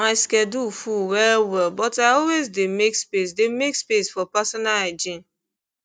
my schedule full well well but i always dey make space dey make space for personal hygiene